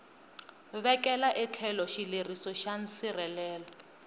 vekela etlhelo xileriso xa nsirhelelo